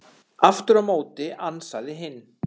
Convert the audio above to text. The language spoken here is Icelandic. Aftur á móti ansaði hinn: